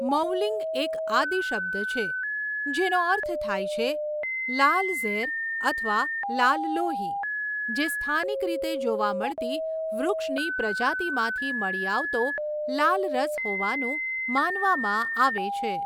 મૌલિંગ એક આદિ શબ્દ છે જેનો અર્થ થાય છે લાલ ઝેર અથવા લાલ લોહી, જે સ્થાનિક રીતે જોવા મળતી વૃક્ષની પ્રજાતિમાંથી મળી આવતો લાલ રસ હોવાનું માનવામાં આવે છે.